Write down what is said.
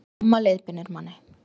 Mamma leiðbeinir manni